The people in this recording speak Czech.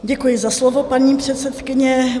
Děkuji za slovo, paní předsedkyně.